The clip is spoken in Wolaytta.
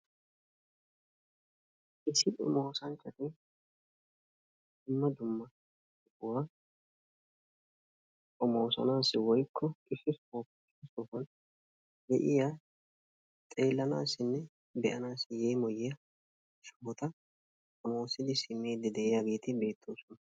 Issi oosanchcati dumma dumma sohuwa xommoossanaassi biidi de'iya xeelanaassinne be'anaassi yeemmoyiya sohota xoommossidi simmidi de'iyageeti beettoosona.